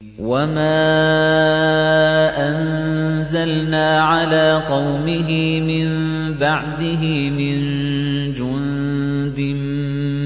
۞ وَمَا أَنزَلْنَا عَلَىٰ قَوْمِهِ مِن بَعْدِهِ مِن جُندٍ